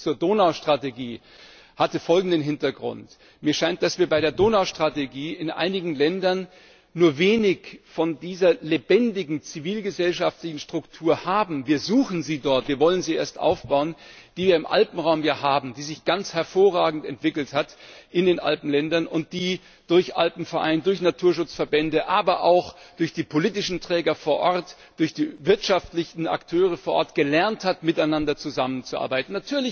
Der Bezug zur Donaustrategie hatte folgenden Hintergrund Mir scheint, dass wir bei der Donaustrategie in einigen Ländern nur wenig von dieser lebendigen zivilgesellschaftlichen Struktur haben wir suchen sie dort, wir wollen sie erst aufbauen die wir im Alpenraum hier haben, die sich in den Alpenländern ganz hervorragend entwickelt hat und die durch Alpenverein, durch Naturschutzverbände, aber auch durch die politischen Träger vor Ort, durch die wirtschaftlichen Akteure vor Ort gelernt hat, miteinander zusammenzuarbeiten.